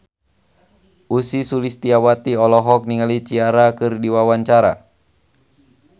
Ussy Sulistyawati olohok ningali Ciara keur diwawancara